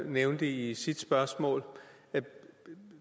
nævnte i sit spørgsmål